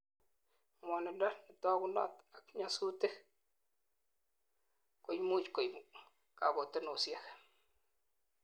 ngwonindo netogunot ak nyasutik koimuch koib kakotunosiek